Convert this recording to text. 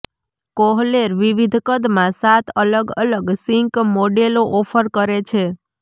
Kohler વિવિધ કદમાં સાત અલગ અલગ સિંક મોડેલો ઓફર કરે છે